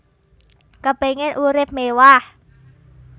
Kepingin urip mewah